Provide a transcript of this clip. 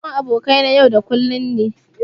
Gaisuwan abokai na yau da kullum ne.